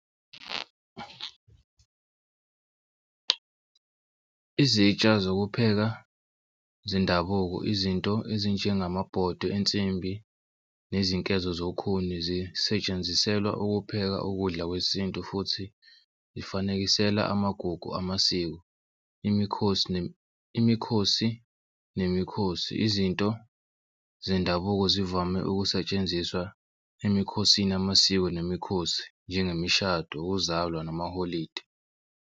Izitsha zokupheka zendabuko izinto ezinjengamabodwe ensimbi nezinkezo zokhuni zisetshenziselwa ukupheka ukudla kwesintu futhi zifanekisela amagugu, amasiko imikhosi imikhosi nemikhosi. Izinto zendabuko zivame ukusetshenziswa emikhosini yamasiko nemikhosi njengemishado ukuzalwa namaholidi.